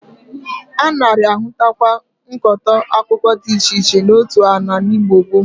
A nari-ahụtakwa nkụkọta akụkụ di iche iche n'otu ala n'Igbo gboo.